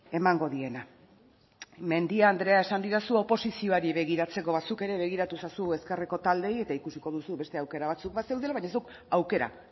emango diena mendia andrea esan didazu oposizioari begiratzeko ba zuk ere begiratu ezazu ezkerreko taldeei eta ikusiko duzu beste aukera batzuk bazeudela baina zuk aukera